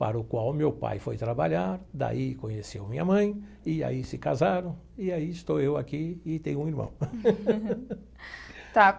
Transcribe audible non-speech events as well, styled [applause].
para o qual meu pai foi trabalhar, daí conheceu minha mãe, e aí se casaram, e aí estou eu aqui e tenho um irmão. [laughs] Tá.